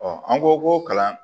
an ko ko kalan